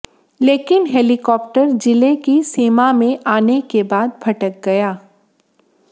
लेकिन हेलीकाप्टर जिले की सीमा में आने के बाद भटक गया